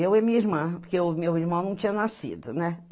Eu e minha irmã, porque o meu irmão não tinha nascido, né?